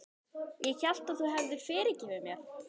Ég hélt að þú hefðir fyrirgefið mér.